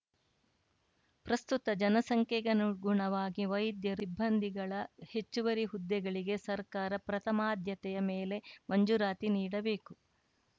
ಪ್ರಸ್ತುತ ಜನಸಂಖ್ಯೆಗನುಗುಣವಾಗಿ ವೈದ್ಯರು ಸಿಬ್ಬಂದಿಗಳ ಹೆಚ್ಚುವರಿ ಹುದ್ದೆಗಳಿಗೆ ಸರ್ಕಾರ ಪ್ರಥಮಾದ್ಯತೆಯ ಮೇಲೆ ಮಂಜೂರಾತಿ ನೀಡಬೇಕು